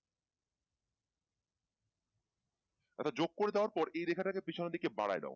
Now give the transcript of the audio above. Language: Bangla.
জোক করে দেওয়ার পর এই রেখাটাকে পেছনের দিকে বাড়ায় দেও